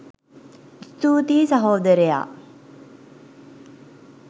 ස්තුතියි සහෝදරයා